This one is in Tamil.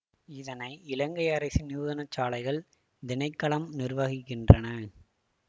இதனை இலங்கை அரசின் நூதனசாலைகள் திணைக்களம் நிர்வாகிக்கின்றன